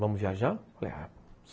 Vamos viajar?